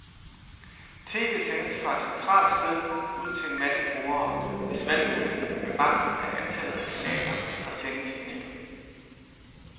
TV sendes fra et centralt sted ud til en masse brugere, hvis valgmulighed er begrænset af antallet af kanaler, der sendes i nettet.